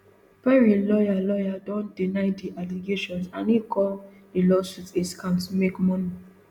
perry lawyer lawyer don deny di allegations and e call di lawsuit a scam to make money